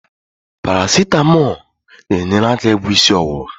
Parasetamo na-enyere aka ịgwọ isi ọwụwa.